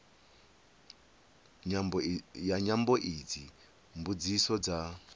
ya nyambo idzi mbudziso dza